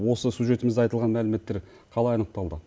осы сюжетімізде айтылған мәліметтер қалай анықталды